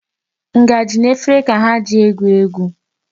Ngaji na efere ka ha ji egwu egwu.